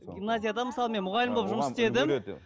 гимназияда мысалы мен мұғалім болып жұмыс істедім